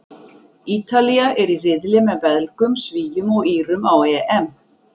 Ítalía er í riðli með Belgum, Svíum og Írum á EM.